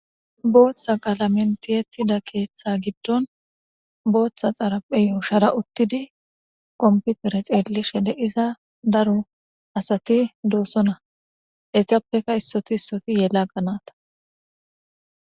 Botha qalameni tiyetida keeththa gidoni botha xaraphey yushara uttidi komipitere xeeliza daro asat deosoona heyitappekka issoti issoti yelaga nata